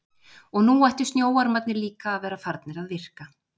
Og nú ættu snjóormarnir líka að vera farnir að virka.